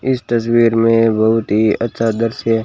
इस तस्वीर में बहुत ही अच्छा दृश्य--